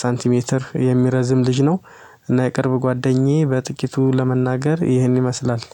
ሳንቲሜትር የሚረዝም ልጅ ነው። እና የቅርብ ጓደኛዬ በጥቂቱ ለመናገር ይህን ይመስላል።